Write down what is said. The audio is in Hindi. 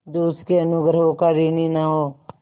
जो उसके अनुग्रहों का ऋणी न हो